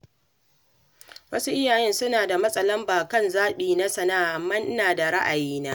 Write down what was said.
Wasu iyaye suna matsa lamba kan zaɓi na sana'a, amma ina da ra'ayina.